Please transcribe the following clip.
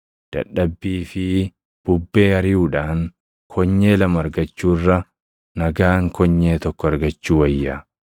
Dadhabbii fi bubbee ariʼuudhaan konyee lama argachuu irra nagaan konyee tokko argachuu wayya.